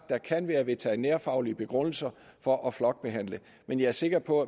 der kan være veterinærfaglige begrundelser for at flokbehandle men jeg er sikker på